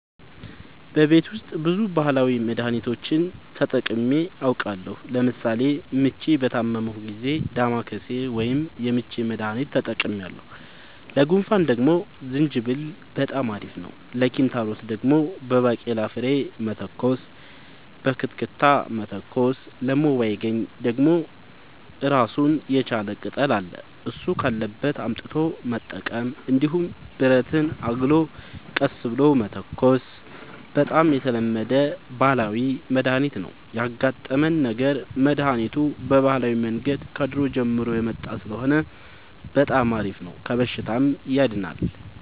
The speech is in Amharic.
በቤት ውስጥ ብዙ ባህላዊ መድሀኒቶችን ተጠቅሜ አውቃለሁ ለምሳሌ ምች በታመምሁ ጊዜ ዳማከሴ ወይም የምች መድሀኒት ተጠቅሜያለሁ ለጉንፋን ደግሞ ዝንጅብል በጣም አሪፍ ነው ለኪንታሮት ደግሞ በባቄላ ፍሬ መተኮስ በክትክታ መተኮስ ለሞይባገኝ ደግሞ እራሱን የቻለ ቅጠል አለ እሱ ካለበት አምጥቶ መጠቀም እንዲሁም ብረትን አግሎ ቀስ ብሎ መተኮስ በጣም የተለመደ ባህላዊ መድሀኒት ነው ያጋጠመን ነገር መድሀኒቱ በባህላዊ መንገድ ከድሮ ጀምሮ የመጣ ስለሆነ በጣም አሪፍ ነው ከበሽታውም ያድናል።